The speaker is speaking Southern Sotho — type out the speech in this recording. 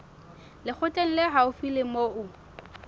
lekgotleng le haufi le moo